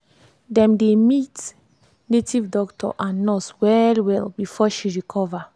dem dey meet native doctor and nurse well well before she recover.